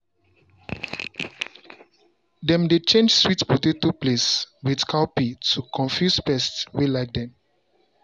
dem dey change sweet potato place with cowpea to confuse pest wey like dem.